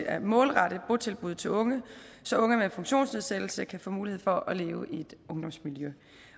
at målrette botilbud til unge så unge med funktionsnedsættelse kan få mulighed for at leve i et ungdomsmiljø